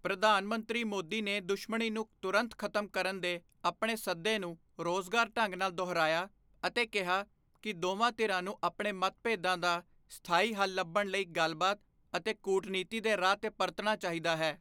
ਪ੍ਰਧਾਨ ਮੰਤਰੀ ਮੋਦੀ ਨੇ ਦੁਸ਼ਮਣੀ ਨੂੰ ਤੁਰੰਤ ਖ਼ਤਮ ਕਰਨ ਦੇ ਆਪਣੇ ਸੱਦੇ ਨੂੰ ਜ਼ੋਰਦਾਰ ਢੰਗ ਨਾਲ ਦੁਹਰਾਇਆ ਅਤੇ ਕਿਹਾ ਕਿ ਦੋਵਾਂ ਧਿਰਾਂ ਨੂੰ ਆਪਣੇ ਮਤਭੇਦਾਂ ਦਾ ਸਥਾਈ ਹੱਲ ਲੱਭਣ ਲਈ ਗੱਲਬਾਤ ਅਤੇ ਕੂਟਨੀਤੀ ਦੇ ਰਾਹ ਤੇ ਪਰਤਣਾ ਚਾਹੀਦਾ ਹੈ।